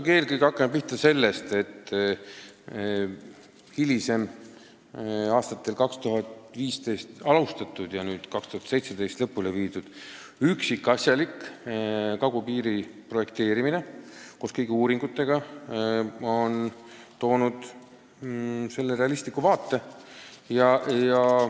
Hakkame ikkagi pihta sellest, et aastal 2015 alustatud ja aastal 2017 lõpule viidud üksikasjalik kagupiiri projekteerimine koos kõigi uuringutega on meile andnud realistliku vaate.